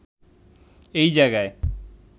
এই জায়গায়